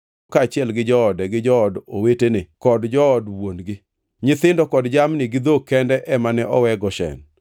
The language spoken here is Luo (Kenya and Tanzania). kaachiel gi joode gi jood owetene kod jood wuon-gi. Nyithindo kod jamni gi dhok kende ema ne owe Goshen.